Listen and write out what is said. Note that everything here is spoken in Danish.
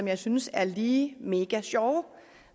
jeg synes er lige mega sjove